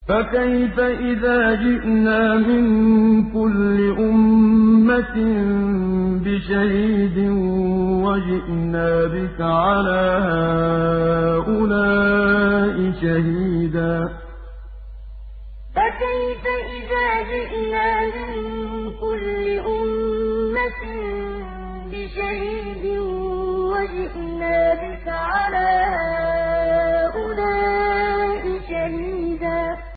فَكَيْفَ إِذَا جِئْنَا مِن كُلِّ أُمَّةٍ بِشَهِيدٍ وَجِئْنَا بِكَ عَلَىٰ هَٰؤُلَاءِ شَهِيدًا فَكَيْفَ إِذَا جِئْنَا مِن كُلِّ أُمَّةٍ بِشَهِيدٍ وَجِئْنَا بِكَ عَلَىٰ هَٰؤُلَاءِ شَهِيدًا